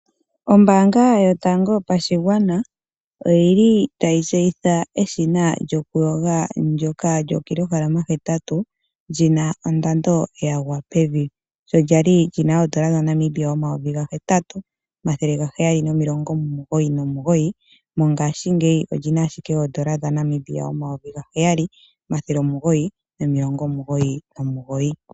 Ombaanga yotango yopashigwana oyili tayi tseyitha eshina lyokuyoga ndjoka lyookilohalama hetatu lina ondando yagwa pevi sho kwali lina oondola dha Namibia omayovi ga hetatu omathele ga heyali nomilongo omugoyi nomugoyi mongashingeyi olina ashike oondola dha Namibia omayovi gaheyali omathele omugoyi nomilongo omugoyi nomugoyi.